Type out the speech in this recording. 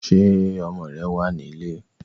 Ṣé ọmọ rẹ̀ wá nílé?